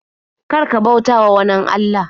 Kar ka bautawa wanin Allah.